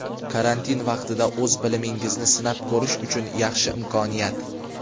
Karantin vaqtida o‘z bilimingizni sinab ko‘rish uchun yaxshi imkoniyat!.